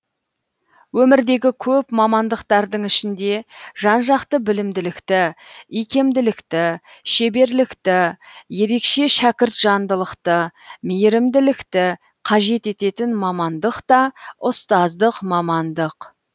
өмірдегі көп мамандықтардың ішінде жан жақты білімділікті икемділікті шеберлікті ерекше шәкіртжандылықты мейірімділікті қажет ететін мамандық та ұстаздық мамандық